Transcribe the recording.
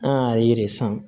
An y'a ye san